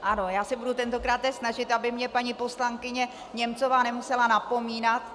Ano, já se budu tentokráte snažit, aby mě paní poslankyně Němcová nemusela napomínat.